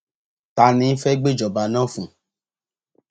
ta ni fẹẹ gbéjọba náà fún un